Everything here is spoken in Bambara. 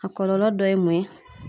A kɔlɔlɔ dɔ ye mun ye?